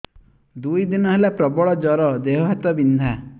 ଦୁଇ ଦିନ ହେଲା ପ୍ରବଳ ଜର ଦେହ ହାତ ବିନ୍ଧା